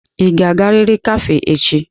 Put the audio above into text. Ị ga-agariri kafé echi!